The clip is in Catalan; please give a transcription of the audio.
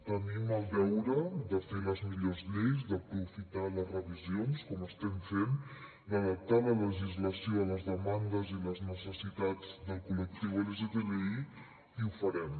tenim el deure de fer les millors lleis d’aprofitar les revisions com estem fent d’adaptar la legislació a les demandes i les necessitats del col·lectiu lgtbi i ho farem